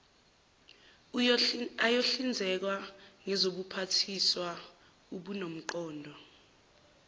ayohlinzekwa ngezobuphathiswa obunomqondo